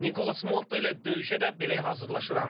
Nikolas Motta ilə döyüşə də belə hazırlaşıram.